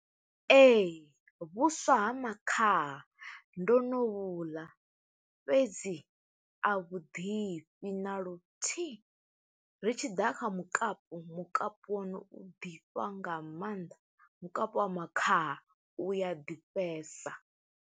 Ee, vhuswa ha makhaha ndo no vhuḽa, fhedzi a vhuḓifhi na luthihi. Ri tshi ḓa kha mukapu, mukapu wonu u ḓifha nga maanḓa. Mukapu wa makhaha u ya ḓifhesa.